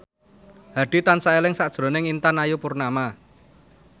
Hadi tansah eling sakjroning Intan Ayu Purnama